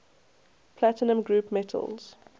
platinum group metals